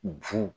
Ju